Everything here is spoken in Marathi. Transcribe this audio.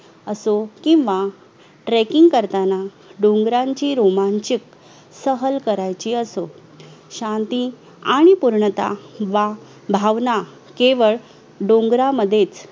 असो किंवा tracking करताना डोगरांची रोमाचीक सहल कराची असो शांती आणि पूर्णतः वा भावना केवळ डोगरांमध्येच